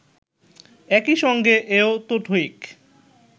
একই সঙ্গে এ-ও তো ঠিক